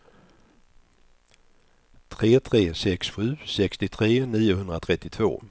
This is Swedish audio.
tre tre sex sju sextiotre niohundratrettiotvå